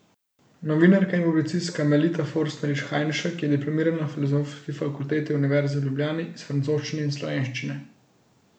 Novinarka in publicistka Melita Forstnerič Hajnšek je diplomirala na Filozofski fakulteti Univerze v Ljubljani iz francoščine in slovenščine.